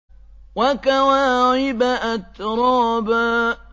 وَكَوَاعِبَ أَتْرَابًا